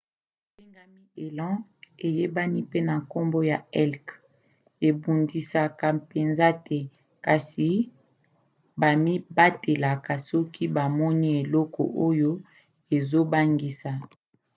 nyama ebengami elan eyebani pe na nkombo ya elk ebundisaka mpenza te kasi bamibatelaka soki bamoni eloko oyo ezobangisa